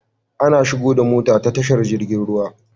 Ana shigo da mota ta tashar jirgin ruwa